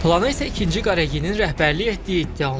Planı isə ikinci Qareginin rəhbərliyi etdiyi iddia olunur.